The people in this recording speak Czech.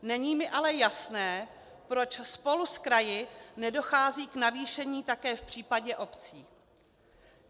Není mi ale jasné, proč spolu s kraji nedochází k navýšení také v případě obcí.